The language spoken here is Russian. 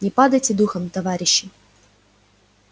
не падайте духом товарищи